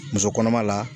Muso kɔnɔma la